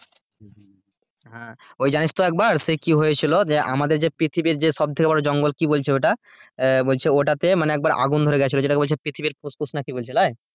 হ্যাঁ ওই জানিস তো একবার সেই কি হয়েছিল দিয়ে একবার আমাদের পৃথিবীর যে সবথেকে বড় জঙ্গল কি বলছে ওটা বলছে ওটাতে আগুন ধরে গিয়েছিলো যেটাকে বলছে পৃথিবীর ফুসফুস না কি বলছে নয়,